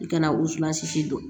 I kana u suwa sisi dɔn